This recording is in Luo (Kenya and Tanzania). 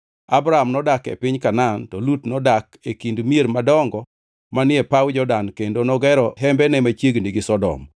Abram nodak e piny Kanaan, to Lut nodak e kind mier madongo manie paw Jordan kendo nogero hembene machiegni gi Sodom.